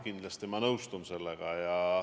Kindlasti ma nõustun sellega.